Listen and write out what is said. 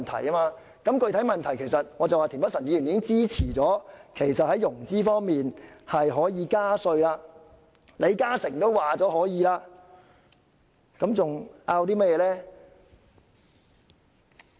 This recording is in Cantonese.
就着具體的問題，田北辰議員已經支持在融資方面加稅，連李嘉誠也說可以，還爭拗甚麼呢？